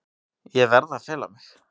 Ég verð að fela mig.